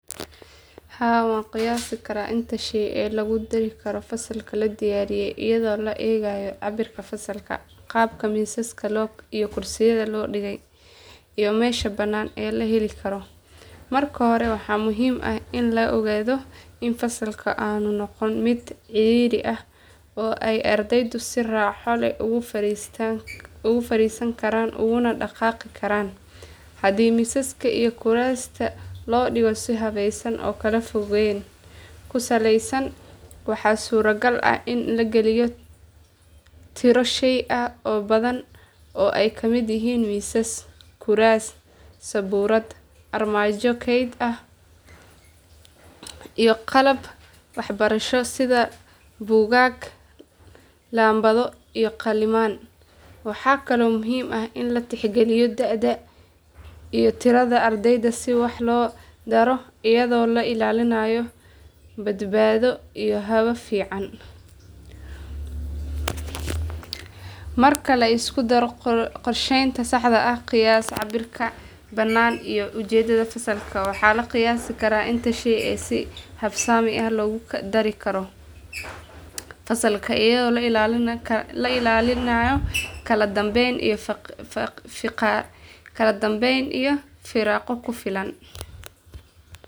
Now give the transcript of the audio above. Haa waan qiyaasi karaa inta shay ee lagu dari karo fasalka la diyaariyay iyadoo la eegayo cabbirka fasalka, qaabka miisaska iyo kuraasta loo dhigay, iyo meesha bannaan ee la heli karo. Marka hore waxaa muhiim ah in la ogaado in fasalka aanu noqon mid cidhiidhi ah oo ay ardaydu si raaxo leh ugu fariisan karaan uguna dhaqaaqi karaan. Haddii miisaska iyo kuraasta loo dhigo si habeysan oo kala fogaan ku saleysan, waxaa suuragal ah in la galiyo tiro shay ah oo badan oo ay kamid yihiin miisas, kuraas, sabuurad, armaajo kayd ah, iyo qalab waxbarasho sida buugaag, laambado iyo qalimaan. Waxaa kaloo muhiim ah in la tixgeliyo da'da iyo tirada ardayda si wax loo daro iyadoo la ilaalinayo badbaado iyo hawo fiican. Marka la isku daro qorsheynta saxda ah, qiyaas cabbirka bannaan, iyo ujeeddada fasalka, waxaa la qiyaasi karaa inta shay ee si habsami ah loogu dari karo fasalkaas iyadoo la ilaalinayo kala dambeyn iyo firaaqo ku filan.